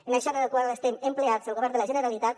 en això és en el que el estem ocupats el govern de la generalitat